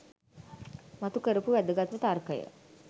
මතු කරපු වැදගත්ම තර්කය